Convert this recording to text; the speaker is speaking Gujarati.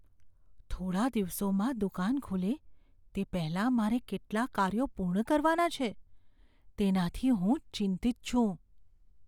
થોડા દિવસોમાં દુકાન ખુલે તે પહેલાં મારે કેટલા કાર્યો પૂર્ણ કરવાના છે તેનાથી હું ચિંતિત છું.